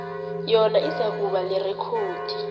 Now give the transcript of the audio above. yona izakuba lirekhodi